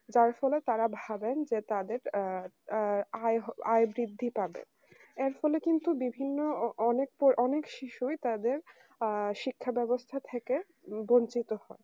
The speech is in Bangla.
যার ফলে তারা ভাবেন যে তাদের আ আয় বৃদ্ধি পাবে এর ফলে কিন্তু বিভিন্ন অ অনেক শিশুই তাদের আ তাদের শিক্ষা ব্যবস্থা থেকে বঞ্চিত হয়